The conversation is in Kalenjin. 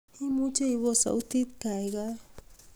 imuche ipos sautit gaigai